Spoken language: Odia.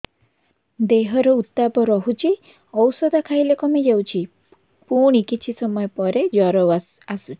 ଦେହର ଉତ୍ତାପ ରହୁଛି ଔଷଧ ଖାଇଲେ କମିଯାଉଛି ପୁଣି କିଛି ସମୟ ପରେ ଜ୍ୱର ଆସୁଛି